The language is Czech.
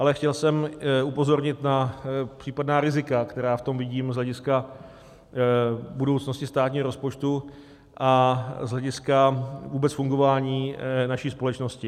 Ale chtěl jsem upozornit na případná rizika, která v tom vidím z hlediska budoucnosti státního rozpočtu a z hlediska vůbec fungování naší společnosti.